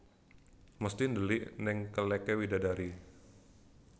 Mesti ndelik neng keleke widadari